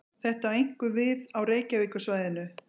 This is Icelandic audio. Þetta á einkum við á Reykjavíkursvæðinu.